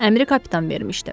Əmri kapitan vermişdi.